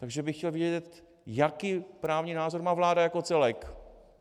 Takže bych chtěl vědět, jaký právní názor má vláda jako celek.